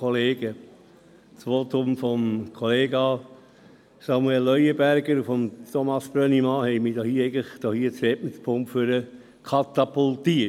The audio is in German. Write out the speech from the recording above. Die Voten von Kollega Samuel Leuenberger und von Thomas Brönnimann haben mich nach vorne ans Rednerpult katapultiert.